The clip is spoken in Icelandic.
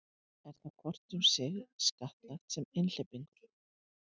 Er þá hvort um sig skattlagt sem einhleypingur.